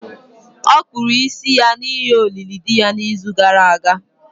Ọ kpụrụ isi ya n’ihi olili di ya n’izu gara aga.